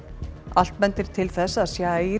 allt bendir til þess að